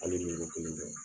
Hali ni yɔrɔ kelen dɛ